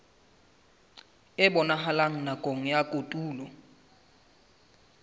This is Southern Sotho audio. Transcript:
e bonahalang nakong ya kotulo